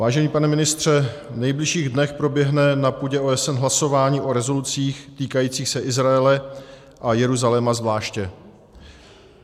Vážený pane ministře, v nejbližších dnech proběhne na půdě OSN hlasování o rezolucích týkajících se Izraele a Jeruzaléma zvláště.